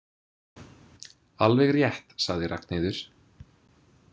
Alveg rétt, sagði Ragnheiður.